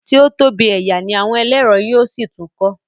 tí o tóbi ẹyà ní àwọn ẹlẹrọ yíò sí tún kọ